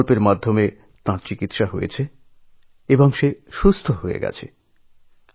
এই যোজনার সাহায্য নিয়ে তার বাচ্চাকে চিকিৎসা করিয়েছেন এবং সে সুস্থ হয়ে উঠেছে